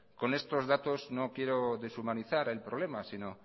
con estos datos no quiero deshumanizar el problema sino